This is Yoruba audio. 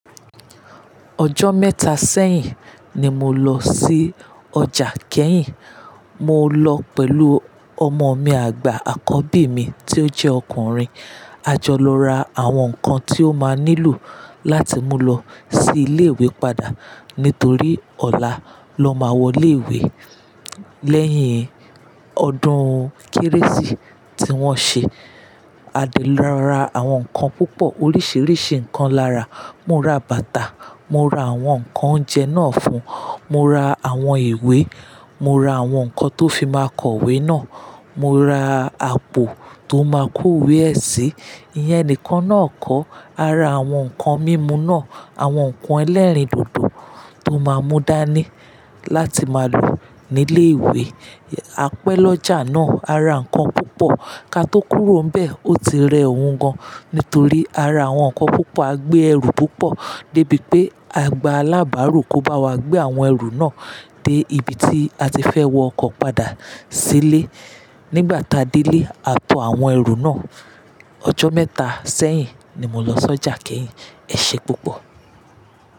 Ọjọ́ mẹ́ta sẹ́hìn ni mo lọ sí ọjà Kehin. Mo lọ pẹ̀lú ọmọ mi àgbà, àkọ́bí mi tí ó jẹ́ ọkùnrin. A jọ lọ ra àwọn nǹkan tí ó ma nílò láti mú lọ sí ilé-ìwé padà nítorí ọ̀la ló ma wọ ilé-ìwé lẹ́hìn ọdún kérésì tí wọ́n ṣe. A de lọ ra àwọn nǹkan púpọ̀, oríṣiríṣi nǹkan lára. Mo ra bàtà, mo ra àwọn nǹkan oúnjẹ ná fún, mo ra àwọn ìwé, mo ra àwọn nǹkan tó fi ma kọ ìwé náà, mo ra àpò tó ma kó ìwé ẹ sí. Ìyẹn nìkan náà kọ́, ara àwọn nǹkan mímu náà, àwọn nǹkan ẹlẹrin dodo tó ma mú dání láti ma lò ní ilé-ìwé. A pẹ́ lọ ọjà náà, a ra nǹkan púpọ̀. Ká tó kúrò ń bẹ̀, ó ti rẹ ọ̀ùn gan. Nítorí ara àwọn nǹkan púpọ̀, a gbé ẹrù púpọ̀ dé bí pé àgbà alábàárò kò bá wa gbé àwọn ẹrù náà dé ibi tí a ti fẹ́ wọ ọkọ̀ padà sí ilé. Nígbà tá dé ilé, a tò àwọn ẹrù náà. Ọjọ́ mẹ́ta sẹ́hìn ni mo lọ sí ọjà Kehin. Ẹṣé púpọ̀.